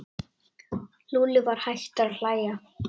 Lúlli var hættur að hlæja.